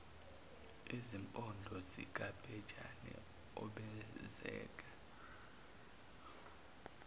izimpondo zikabhejane obenzeka